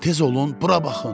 Tez olun, bura baxın!